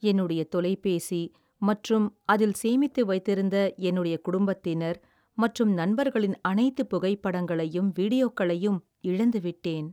என்னுடைய தொலைபேசி மற்றும் அதில் சேமித்து வைத்திருந்த என்னுடைய குடும்பத்தினர் மற்றும் நண்பர்களின் அனைத்து புகைப்படங்களையும் வீடியோக்களையும் இழந்துவிட்டேன்.